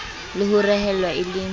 le ho rehellwa e le